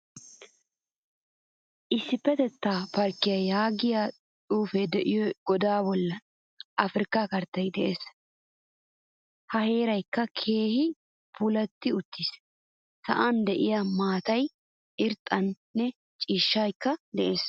Issipetetta parkkiyaa yaagiyaa xuufe deiyo goda bolli afrikka karttay de'ees. Ha heeraykka keehin puulati uttiis. Sa'an deiya maataay irxxanne ciishshaykka de'ees.